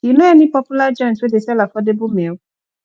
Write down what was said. you know any popular joint wey dey sell affordable meal